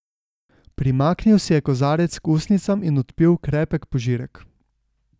Primaknil si je kozarec k ustnicam in odpil krepek požirek.